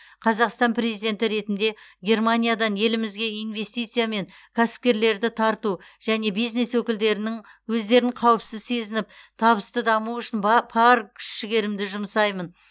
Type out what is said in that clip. қазақстан президенті ретінде германиядан елімізге инвестиция мен кәсіпкерлерді тарту және бизнес өкілдерінің өздерін қауіпсіз сезініп табысты дамуы үшін ба пар күш жігерімді жұмсаймын